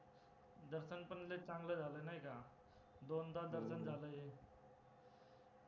दर्शन पण लय चांगलं झालं नायका. दोनदा दर्शन झालं